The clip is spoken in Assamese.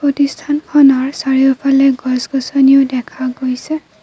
এই স্থানখনৰ চাৰিওফালে গছ-গছনী ও দেখা গৈছে।